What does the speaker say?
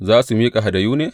Za su miƙa hadayu ne?